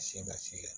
Se ka se